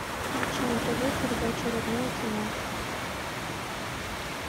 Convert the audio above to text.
включи на тв передачу родное кино